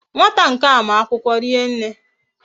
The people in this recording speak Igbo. Nwata nkea ma akwukwo rienne